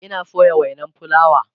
Ina soya wainan fulawa